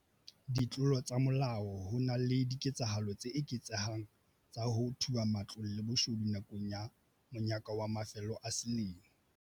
Ditlolo tsa molao Ho na le diketsahalo tse eketsehang tsa ho thuba matlong le boshodu nakong ya monyaka wa mafelo a selemo.